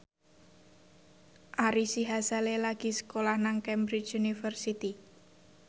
Ari Sihasale lagi sekolah nang Cambridge University